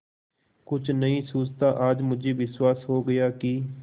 कुछ नहीं सूझता आज मुझे विश्वास हो गया कि